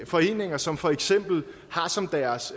foreninger som for eksempel og har som deres